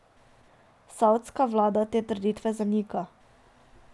Savdska vlada te trditve zanika.